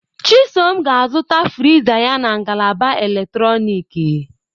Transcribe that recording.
Chisom ga-azụta friza ya na ngalaba eletrọnịkị.